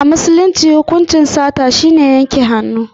A musulunci hukuncin sata shine yanke hannu.